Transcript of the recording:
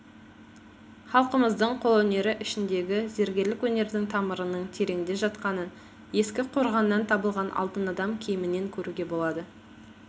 халқымыздың қолөнері ішіндегі зергерлік өнердің тамырының тереңде жатқанын ескі қорғаннан табылған алтын адам киімінен көруге болады